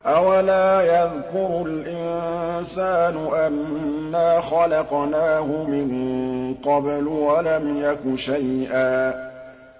أَوَلَا يَذْكُرُ الْإِنسَانُ أَنَّا خَلَقْنَاهُ مِن قَبْلُ وَلَمْ يَكُ شَيْئًا